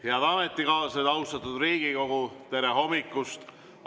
Head ametikaaslased, austatud Riigikogu, tere hommikust!